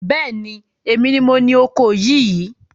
Bẹ́ẹ̀ni, èmi ni moní oko yìí